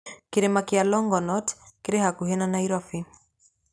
Kĩrĩma kĩa Longonot kĩrĩ hakuhĩ na Nairobi.